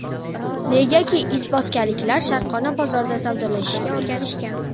Negaki, izboskanliklar sharqona bozorda savdolashishga o‘rganishgan.